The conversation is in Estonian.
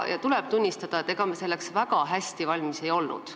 Ja tuleb tunnistada, et ega me selleks väga hästi valmis ei olnud.